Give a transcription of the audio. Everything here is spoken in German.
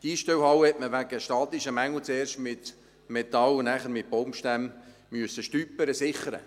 Die Einstellhalle musste man wegen statischer Mängel zuerst mit Metall und nachher mit Baumstämmen «stüpern», also sichern.